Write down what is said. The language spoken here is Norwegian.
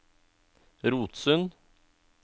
Rotsund